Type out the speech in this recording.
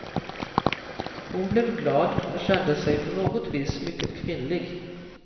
Hon blev glad och kände sig på något vis mycket kvinnlig.